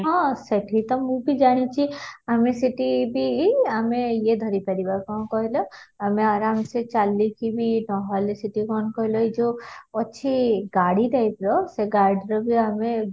ହଁ ସେଠି ତ ମୁଁ ବି ଜାଣିଛି ଆମେ ସେଠି ବି ଆମେ ୟେ ଧରି ପାରିବ କ'ଣ କହିଲ ଆମେ ଆରାମସେ ଚାଲି କି ବି ନହେଲେ ସେଠି କ'ଣ କହିଲ ଏଇ ଯଉ ଅଛି ଗାଡି type ର ସେ ଗାଡିର ବି ଆମେ